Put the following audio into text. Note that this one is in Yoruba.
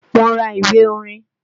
Mo ra ìwé orin